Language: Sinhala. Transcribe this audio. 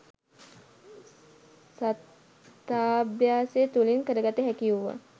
සතතාභ්‍යාසය තුළින් කරගත හැකි වුවත්.